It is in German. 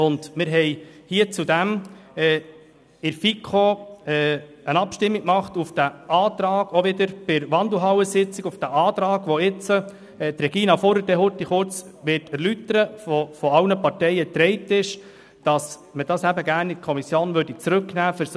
In der FiKo führten wir auch im Rahmen der Wandelhallensitzung eine Abstimmung über von allen Parteien getragenen Antrag durch, wonach diese Artikel in die Kommission zurückzunehmen sind.